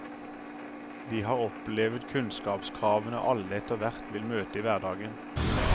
De har opplevet kunnskapskravene alle etterhvert vil møte i hverdagen.